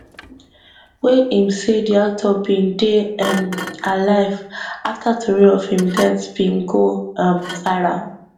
wey im say di actor bin dey um alive afta tori of im death bin go um viral